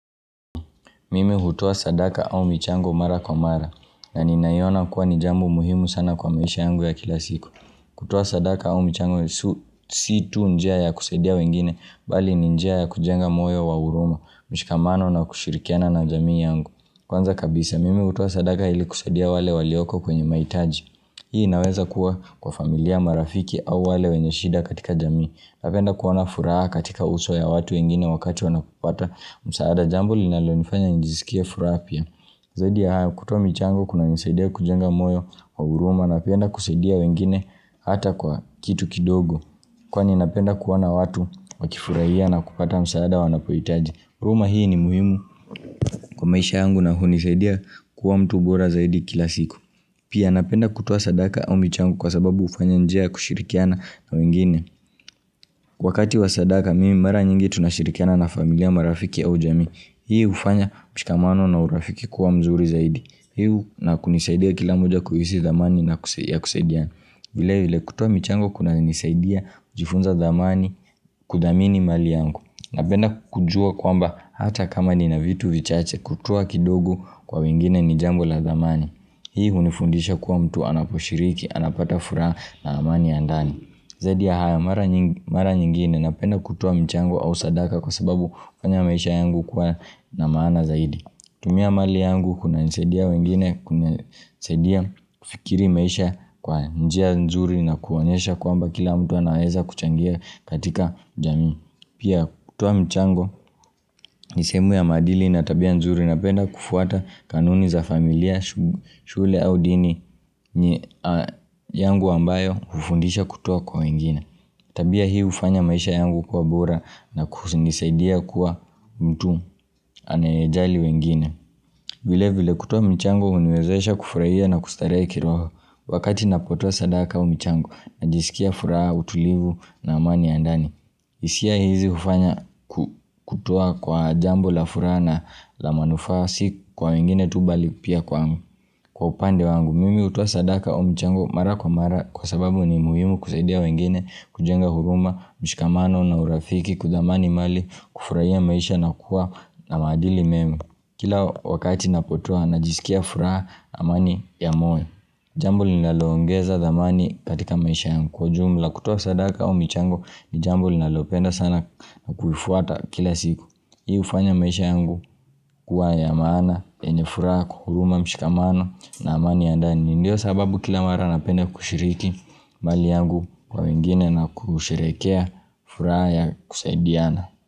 Mimi hutoa sadaka au michango mara kwa mara, na ninaiona kuwa ni jambo muhimu sana kwa maisha yangu ya kila siku. Kutua sadaka au michango si tu njia ya kusedia wengine, bali ni njia ya kujenga moyo wa uruma, mshikamano na kushirikiana na jamii yangu. Kwanza kabisa, mimi hutua sadaka ili kusedia wale walioko kwenye maitaji. Hii naweza kuwa kwa familia marafiki au wale wenyeshida katika jamii. Napenda kuwana furaha katika uso ya watu wengine wakati wanapopata msaada jambu linalo nifanya njizikia furapia Zaidi ya haya kutuwa michangu kuna nisaidia kujenga moyo wa uruma Napenda kuseidia wengine hata kwa kitu kidogo Kwani napenda kuwana watu wakifurahia na kupata msaada wanapuitaji Uruma hii ni muhimu kwa maisha angu na hunisaidia kuwa mtu bora zaidi kila siku Pia napenda kutuwa sadaka au michangu kwa sababu ufanyanjea kushirikiana na wengine Kwa kati wasadaka mimi mara nyingi tunashirikiana na familia marafiki au jami Hii ufanya mshikamano na urafiki kuwa mzuri zaidi Hii na kunisaidia kila moja kuhisi zamani na kuseidia vile hile kutua michango kuna nisaidia jifunza zamani kudamini mali yangu na penda kujua kwamba hata kama ni na vitu vichache kutua kidogo kwa wengine ni jambo la zamani Hii unifundisha kuwa mtu anaposhiriki anapata fura na amani andani Zadi ya haya mara nyingine na penda kutuwa mchango au sadaka kwa sababu ufanya maisha yangu kuwa na maana zaidi. Tumia mali yangu kuna nisedia wengine, kuna nisedia fikiri maisha kwa njia nzuri na koanyesha kuamba kila mtu anaeza kuchangia katika jami. Pia kutuwa mchango nisemu ya madili na tabia nzuri na penda kufuata kanuni za familia, shule au dini yangu ambayo ufundisha kutuoa kwa wengine. Tabia hii ufanya maisha yangu kwa bora na kusingisaidia kuwa mtu anayajali wengine. Vile vile kutua mchango unwezoesha kufurahia na kustaree kiroho wakati napotua sadaka o mchango na jisikia furaha, utulivu na amani andani. Isia hizi ufanya kutoa kwa jambo la furaha na la manufa si kwa wengine tubali pia kwa upande wangu. Mimimi utuwa sadaka au mchango mara kwa mara kwa sababu ni muhimu kuseidia wengine kujenga huruma, mshikamano na urafiki kudamani mali kufurahia maisha na kuwa na madili memu. Kila wakati napotoa na jisikia furaha amani ya moyo. Jambo ni nalongeza thamani katika maisha yangu kwa jumla kutuwa sadaka o mchangu ni jambu ni nalopenda sana na kufuata kila siku. Hii ufanya maisha yangu kuwa ya mana yenye furaha kuhuruma mshikamano na mani ya ndani Ndiyo sababu kila mara napende kushiriki mali yangu kwa wengine na kushirekea furaha ya kusaidiana.